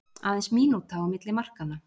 Aðeins mínúta á milli markanna